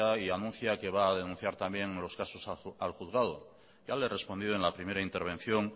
y anuncia que va a denunciar también los casos al juzgado ya le he respondido en la primera intervención